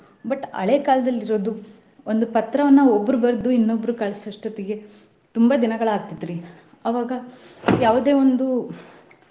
But ಹಳೆಕಾಲದಲ್ಲಿ ಇರೋದ್ ಒಂದ್ ಪತ್ರಾನಾ ಒಬ್ರು ಬರ್ದು ಇನ್ನೊಬ್ಬ್ರಿಗ್ ಕಳ್ಸೊವಷ್ಟೊತ್ತಿಗೆ. ತುಂಬಾ ದಿನಗಳ್ ಆಗ್ತಿತ್ರಿ ಅವಾಗಾ ಯಾವುದೆ ಒಂದು .